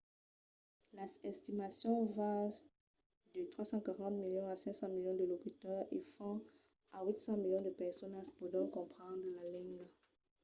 las estimacions van de 340 milions a 500 milions de locutors e fins a 800 milions de personas pòdon comprendre la lenga